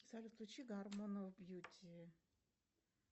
салют включи гармони оф бьюти